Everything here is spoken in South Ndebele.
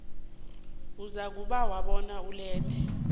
uzakubawa bona ulethe